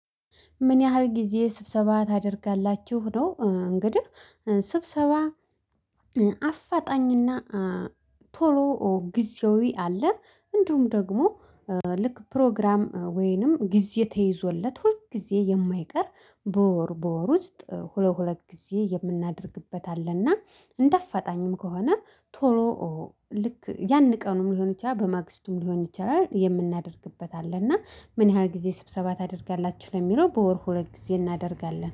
ምን ያህል ጊዜ ስብሰባ ታደርጋላችሁ ነው? እንግዲህ ስብሰባ አፋጣኝና ቶሎ ጊዜያዊ አለ እንደውም ደግሞ ልክ ፕሮግራም ወይንም ጊዜ ተይዞለት ሁል ጊዜ የማይቀር በወር በወር ውስጥ ሁለት ሁለት ጊዜ የምናደርግበት አለና። እንደ አፋጣኝም ከሆነ ቶሎ ልክ ያን ቀኑን ሊሆን ይቻላል በማግስቱም ሊሆን ይችላል የምናደርግበት አለ። እና ምን ያህል ጊዜ ስብሰባ ታደርጋላችሁ ለሚለው? በወር ሁለት ጊዜ እናደርጋለን